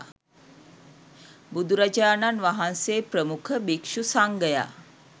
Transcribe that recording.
බුදුරජාණන් වහන්සේ ප්‍රමුඛ භික්ෂු සංඝයා